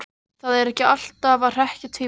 Þau eru alltaf að hrekkja tvíburana.